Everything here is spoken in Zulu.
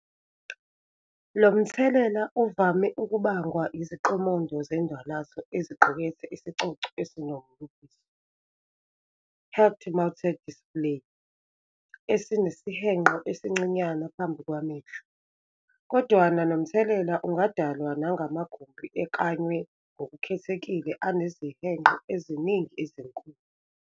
Lomthelela uvame ukubangwa iziqomondo zendwalazo eziqukethe isigcogco esinombukiso, "head-mounted display" esinesihenqo esincinyane phambi kwamehlo, kodwana nomthelela ungadalwa nangamagumbi eklanywe ngokukhethekile anezihenqo eziningana ezinkulu.